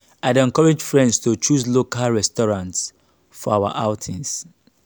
i dey encourage friends to choose local restaurants for our outings.